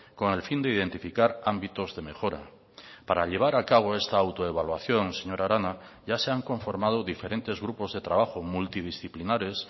con el fin de identificar ámbitos de mejora para llevar a cabo esta autoevaluación señora arana ya se han conformado diferentes grupos de trabajo multidisciplinares